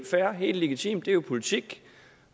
fair helt legitimt det er jo politik